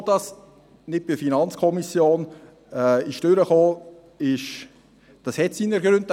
Dass dies nicht bei der FiKo vorbeikam, hat seine Gründe.